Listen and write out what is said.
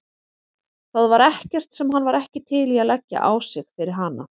Það var ekkert sem hann var ekki til í að leggja á sig fyrir hana.